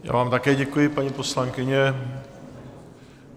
Já vám také děkuji, paní poslankyně.